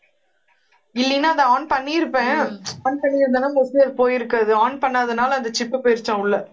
இல்லைன்னா அதை on பண்ணி இருப்பேன் on பண்ணி இருந்தான்னா mostly அது போயிருக்காது on பண்ணாதனால அந்த chip போயிருச்சாம் உள்ள